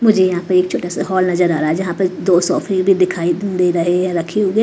मुझे यहां पे एक छोटा सा हॉल नजर आ रहा है जहां पर दो सोफे भी दिखाई दे रहे हैं रखे हुए।